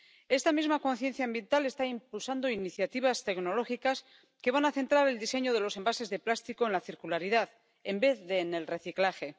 Esta misma conciencia ambiental está impulsando iniciativas tecnológicas que van a centrar el diseño de los envases de plástico en la circularidad en vez de en el reciclaje.